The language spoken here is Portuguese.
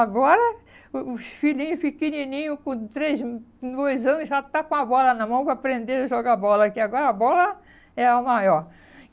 Agora, os filhinhos pequenininhos, com três, com dois anos, já está com a bola na mão para aprender a jogar bola, que agora a bola é a maior.